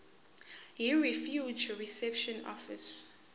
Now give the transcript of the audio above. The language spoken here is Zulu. yirefugee reception office